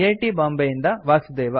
T Bombay ಯಿಂದ ವಾಸುದೇವ